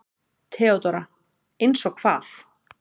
THEODÓRA: Eins og hvað?